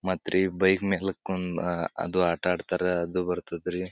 ಮತ್ರಿ ಬೈಕ್ ಮೇಲೆ ಕುಂದ್ ಅಹ್ ಅದು ಆಟ ಆಡ್ತಾರ ಅದು ಬರ್ತದ ರೀ.